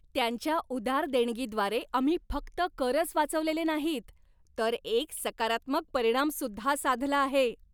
त्यांच्या उदार देणगीद्वारे आम्ही फक्त करच वाचवलेले नाहीत, तर एक सकारात्मक परिणामसुद्धा साधला आहे!